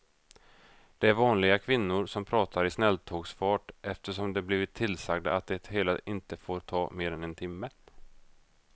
Det är vanliga kvinnor som pratar i snälltågsfart eftersom de blivit tillsagda att det hela inte får ta mer än en timme.